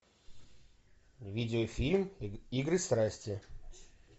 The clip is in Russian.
видеофильм игры страсти